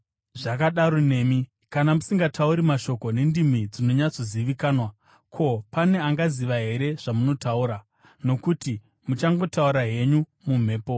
Zvakadaro nemi. Kana musingatauri mashoko nendimi dzinonyatsozivikanwa, ko, pane anganzwa here zvamunotaura? Nokuti muchangotaura henyu mumhepo.